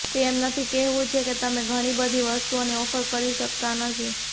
તે એમ નથી કહેવું છે કે તમે ઘણી બધી વસ્તુઓની ઓફર કરી શકતા નથી